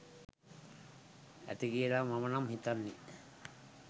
ඇති කියලයි මම නම් හිතන්නේ.